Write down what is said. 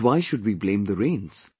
But why should we blame the rains